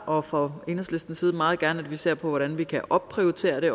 og fra enhedslistens side meget gerne ser på hvordan vi kan opprioritere det